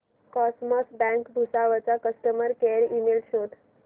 cosmos Bank Bhusawal चा customer care email शोध